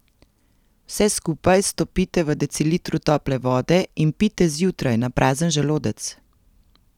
Vse skupaj stopite v decilitru tople vode in pijte zjutraj na prazen želodec.